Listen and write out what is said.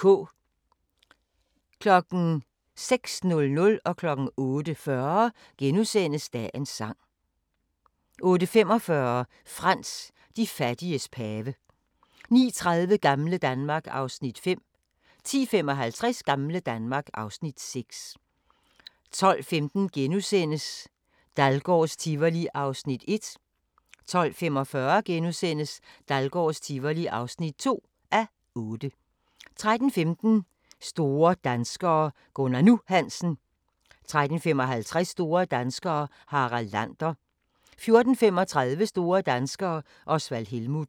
06:00: Dagens sang * 08:40: Dagens sang * 08:45: Frans: De fattiges pave 09:30: Gamle Danmark (Afs. 5) 10:55: Gamle Danmark (Afs. 6) 12:15: Dahlgårds Tivoli (1:8)* 12:45: Dahlgårds Tivoli (2:8)* 13:15: Store danskere - Gunnar "Nu" Hansen 13:55: Store danskere - Harald Lander 14:35: Store danskere - Osvald Helmuth